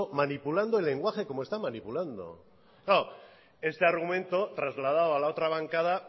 manipulando el lenguaje como está manipulando claro este argumento trasladado a la otra bancada